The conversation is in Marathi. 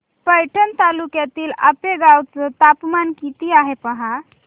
पैठण तालुक्यातील आपेगाव चं तापमान किती आहे पहा